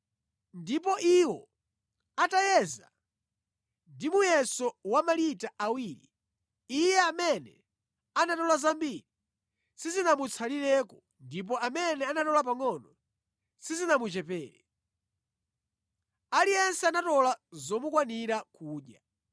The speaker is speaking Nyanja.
Ndipo iwo atayeza ndi muyeso wa malita awiri, iye amene anatola zambiri sizinamutsalireko ndipo amene anatola pangʼono sizinamuchepere. Aliyense anatola zomukwanira kudya.